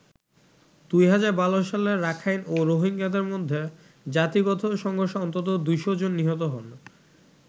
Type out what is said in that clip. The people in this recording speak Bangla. ২০১২ সালে রাখাইন ও রোহিঙ্গাদের মধ্যে জাতিগত সংঘর্ষে অন্তত ২শ’ জন নিহত হন।